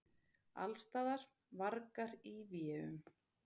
Allsstaðar: vargar í véum.